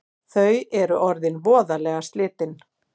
Þau eru orðin voðalega slitin